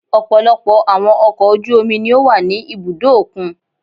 Ọ̀pọ̀lọpọ̀ àwọn ọkọ̀ ojú omi ni ó wà ní ibùdó òkun.